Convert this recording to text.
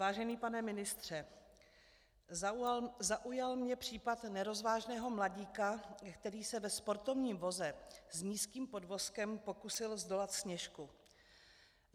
Vážený pane ministře, zaujal mě případ nerozvážného mladíka, který se ve sportovním voze s nízkým podvozkem pokusil zdolat Sněžku.